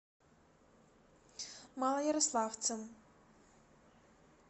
малоярославцем